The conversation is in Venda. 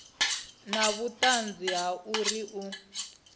na vhuṱanzi ha uri u